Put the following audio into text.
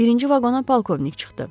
Birinci vaqona polkovnik çıxdı.